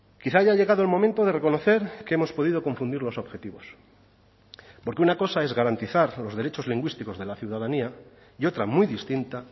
quizá haya llegado el momento de reconocer que hemos podido confundir los objetivos porque una cosa es garantizar los derechos lingüísticos de la ciudadanía y otra muy distinta